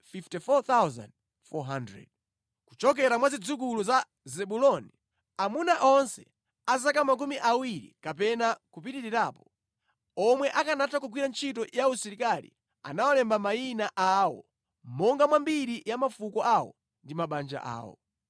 Kuchokera mwa zidzukulu za Zebuloni: Amuna onse a zaka makumi awiri kapena kupitirirapo, omwe akanatha kugwira ntchito ya usilikali anawalemba mayina awo monga mwa mbiri ya mafuko awo ndi mabanja awo.